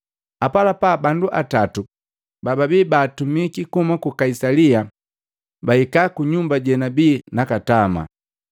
Apalapa, bandu atatu bababi baatumiki kuhuma ku Kaisalia bahika ku nyumba jenabia nakatama.